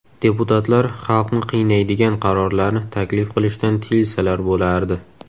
Deputatlar xalqni qiynaydigan qarorlarni taklif qilishdan tiyilsalar bo‘lardi.